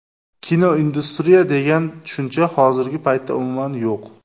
Kinoindustriya degan tushuncha hozirgi paytda umuman yo‘q.